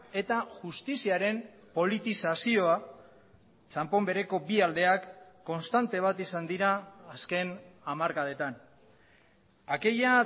eta justiziaren politizazioa txanpon bereko bi aldeak konstante bat izan dira azken hamarkadetan aquella